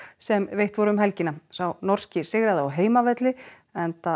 sem veitt voru um helgina sá norski sigraði á heimavelli enda